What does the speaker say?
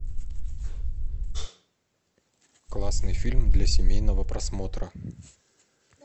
классный фильм для семейного просмотра